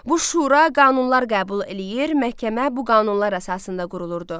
Bu şura qanunlar qəbul eləyir, məhkəmə bu qanunlar əsasında qurulurdu.